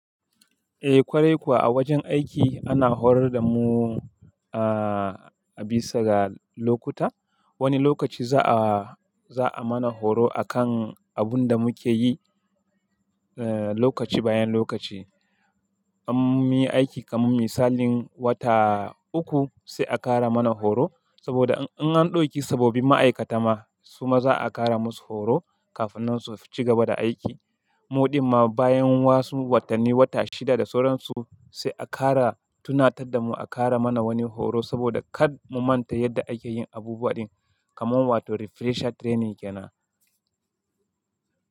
Eh, kwarai kuwa a wajen aiki ana horar da mu a bisa ga lokuta. Wani lokaci za a, za a mana horo akan abun da muke yi lokaci bayan lokaci. Am munyi aiki kaman misalin wata uku sai a ƙara mana horo saboda in an ɗauki sabobin ma'aikata ma su ma za a ƙara masu horo kafin nan su ci gaba da aiki. Muɗin ma bayan wasu watanni, wata shida da sauran su sai a ƙara tunatar da mu a ƙara mana wani horo saboda kar mu manta yadda ake yin abubuwa ɗin kamar wato refresher training yana.